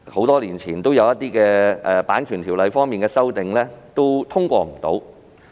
多年前，《版權條例》的一些修訂未能通過。